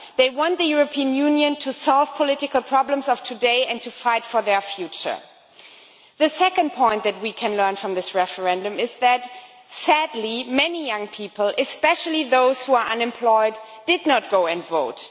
they want the European Union to solve the political problems of today and to fight for their future. The second thing that we can learn from this referendum is that sadly many young people, especially those who are unemployed, did not go and vote.